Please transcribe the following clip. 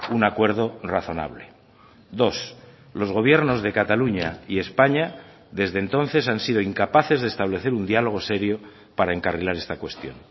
un acuerdo razonable dos los gobiernos de cataluña y españa desde entonces han sido incapaces de establecer un diálogo serio para encarrilar esta cuestión